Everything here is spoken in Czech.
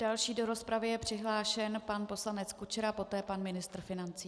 Další do rozpravy je přihlášen pan poslanec Kučera, poté pan ministr financí.